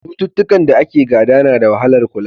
Cututtukan da ake gada na da wahalar kula.